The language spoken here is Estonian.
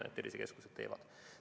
Seda tervisekeskused ka pakuvad.